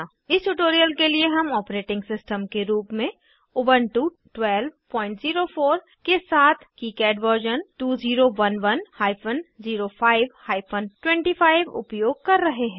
इस ट्यूटोरियल के लिए हम ऑपरेटिंग सिस्टम के रूप में उबन्टु 1204 के साथ किकाड वर्जन 2011 हाइफन 05 हाइफन 25 उपयोग कर रहे हैं